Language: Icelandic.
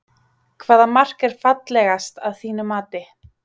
Hvaða mark er fallegast að þínu mati?